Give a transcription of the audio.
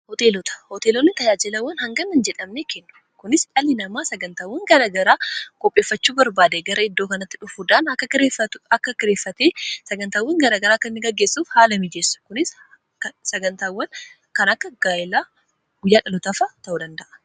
hooteelota hooteelonni tayaajilawwan hanganna jedhamne kennu kunis dhalii namaa sagantaawwan garagaraa kopheeffachuu barbaade gara iddoo kanatti dhufuudaan akka gieffa akka gireeffatee sagantaawwan garagaraa kkanni gaggeessuuf haala miijeessu kunis sagantaawwan kan akka gaayilaa guyyaa dhalotaafa ta'uu danda'a